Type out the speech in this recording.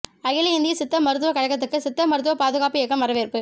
அகில இந்திய சித்த மருத்துவக் கழகத்துக்கு சித்த மருத்துவப் பாதுகாப்பு இயக்கம் வரவேற்பு